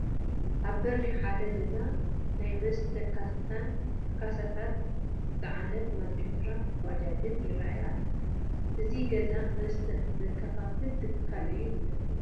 ኣብ በሪ ሓደ ገዛ ናይ መስተ ካሳን ካሳታት ዝፀዓነት ማፂንዱራ ባጃድን ይርአዩ ኣለዉ፡፡ እዚ ገዛ መስተ ዘከፋፍል ትካል እዩ ዝመስል፡፡